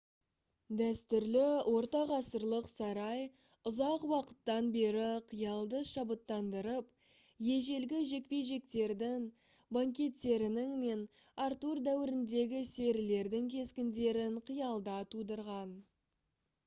дәстүрлі ортағасырлық сарай ұзақ уақыттан бері қиялды шабыттандырып ежелгі жекпе-жектердің банкеттерінің мен артур дәуіріндегі серілердің кескіндерін қиялда тудырған